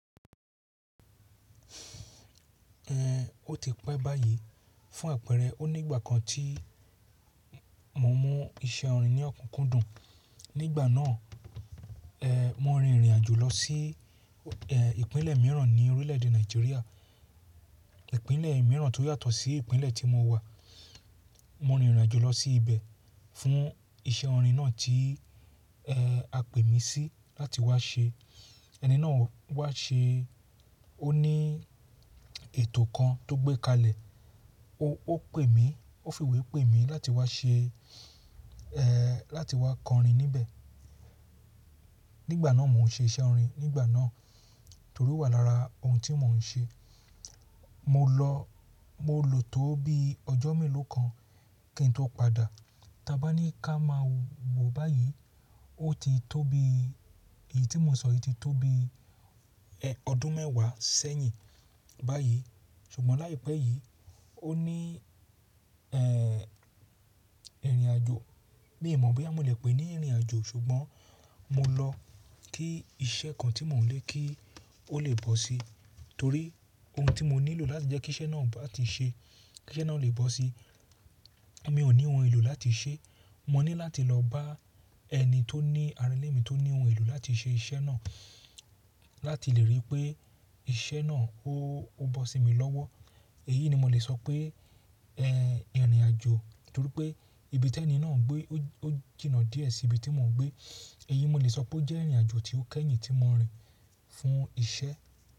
Ẹ̀, ó ti pẹ́ báyìí fún àpẹẹrẹ o nígbà kan tí mo mú iṣẹ́ orin ní ọ̀kúnkúndùn. Nígbà náà, ẹ̀, mo rin ìrìnàjò lọ sí, ẹ̀, ìpínlẹ̀ mìíràn ní orílẹ̀èdè Nàìjíríà. Ìpínlẹ̀ mìíràn tó yàtọ̀ sí ìpínlẹ̀ tí mo wà. Mo rin ìrìnàjò lọ sí ibẹ̀ fún iṣẹ́ orin náà tí, ẹ, a pè mí sí láti wá ṣe. Ẹni náà wá ṣe ó ní ètò kan tó gbé kalẹ̀. O, ó pè mí, ó fi ìwé pè mí láti wá ṣe, ẹ, láti wá kọ orin níbẹ̀. Nígbà náà mò ń ṣe iṣẹ́ orin nígbà náà torí ó wà lára ohun tí mò ń ṣe. Mo lọ, mo lò tó bí ọjọ́ mélòó kan kí n tó padà. Tí a bá ní ká máa wò báyìí, ó ti tó bí, èyí tí mo sọ yìí ti tó bí, ẹ, ọdún mẹ́wàá sẹ́yìn báyìí. Sugbọn laipẹ yi, o ni, ẹ, irin-ajo mii mọ̀ boya mo le pé ní ìrìnàjò, ṣùgbọ́n mo lọ kí iṣẹ́ kan tí mò ń lé kí ó lè bọ́ sí torí ohun tí mo nílò láti jẹ́ kí iṣẹ́ náà bá ti ṣe, kí iṣẹ́ náà lè bọ́ sí, mi ò ní ohun èlò láti ṣe. Mo ní láti lọ bá ẹni tó ní ara ilé mi tó ní ohun èlò láti ṣe iṣẹ́ náà láti lè rí pé iṣẹ́ náà ó, ó bọ́ sí mi lọ́wọ́. Èyí ni mo lè sọ pé, ẹ, ìrìnàjò torí pé ibi tí ẹni náà ń gbé ó jìnà díẹ̀ sí ibi tí mò ń gbé. Èyí mo lè sọ pé ó jẹ́ ìrìnàjò tí ó kẹ́yìn tí mo rìn fún iṣẹ́.